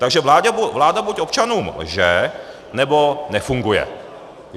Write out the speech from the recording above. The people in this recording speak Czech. Takže vláda buď občanům lže, nebo nefunguje.